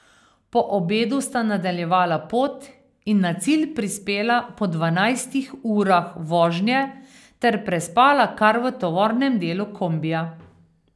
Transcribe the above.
Po obedu sta nadaljevala pot in na cilj prispela po dvanajstih urah vožnje ter prespala kar v tovornem delu kombija.